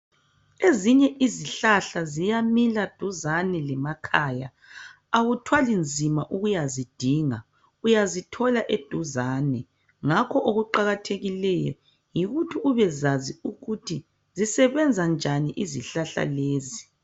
ezinye izihlahla ziyamila duzane lemakhaya awuthwali nzima ukuzithola zikhona eduzane okuqakathekileyo yikuthi ubekwazi ukuthi zisebenza njani izihlahla lezo